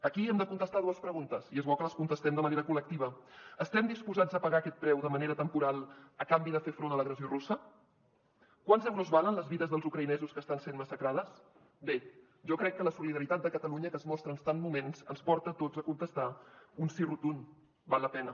aquí hem de contestar dues preguntes i és bo que les contestem de manera collectiva estem disposats a pagar aquest preu de manera temporal a canvi de fer front a l’agressió russa quants euros valen les vides dels ucraïnesos que estan sent massacrades bé jo crec que la solidaritat de catalunya que es mostra en tants moments ens porta a tots a contestar un sí rotund val la pena